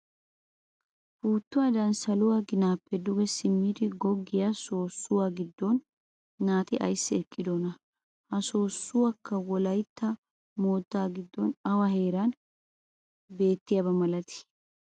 Puuttuwaadan saluwaa ginaappe duge simmidi goggiyaa soossuwaa giddon naati ayssi eqqidonaa? Ha soossoykka wolaytta moottaa giddon awa heeran beettiyaaba milatii?